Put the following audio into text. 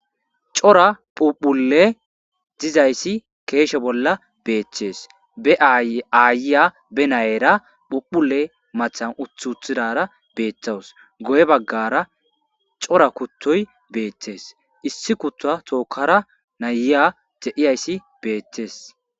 cora phuphule dizayssi keeshe bolla beeththees be aayiya be nayera phuphule matan uti uttidaysi betes dara beettawus goye baggara cora kuttoy beettes issi kutta tookkara nayiya de7iyayssi beettees